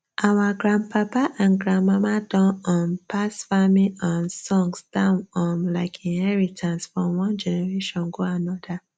our grandpapa and grandmama don um pass farming um songs down um like inherintance from one generation go another